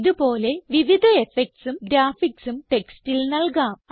ഇത് പോലെ വിവിധ effectsഉം graphicsഉം ടെക്സ്റ്റിൽ നൽകാം